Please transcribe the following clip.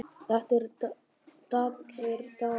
Þetta eru daprir dagar